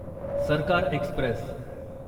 सरकार एक्स्प्रेस